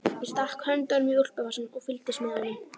Ég stakk höndunum í úlpuvasana og fylgdist með honum.